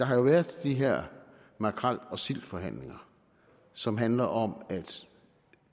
har været de her makrel og sildeforhandlinger som handler om at